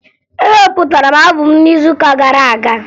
Ewepụtara m aabọm n'izuụka gara aga